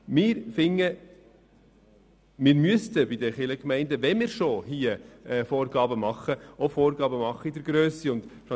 Wir finden, dass wir, wenn wir schon Vorgaben machen, auch Vorgaben zur Grösse machen sollen.